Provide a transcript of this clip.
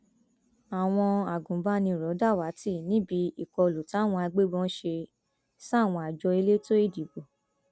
àwọn agbanibánirò dàwátì níbi ìkọlù táwọn agbébọn ṣe sáwọn àjọ elétò ìdìbò